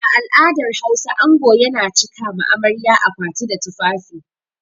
A al'adar Hausa ango yana cika ma amarya akwati da tufafi.